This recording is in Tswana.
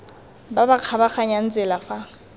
ba ba kgabaganyang tsela fa